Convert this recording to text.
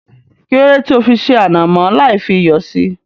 Kílódé tí ó fi ṣé ànàmọ́ lai fi iyọ̀ síí